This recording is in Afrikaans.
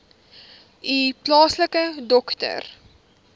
u plaaslike dokter